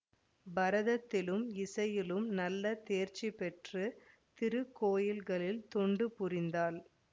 பரதத்திலும் இசையிலும் நல்ல தேர்ச்சி பெற்று திருக்கோயில்களில் தொண்டு புரிந்தாள்